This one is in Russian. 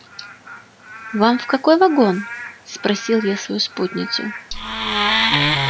вам в какой вагон спросил я свою спутницу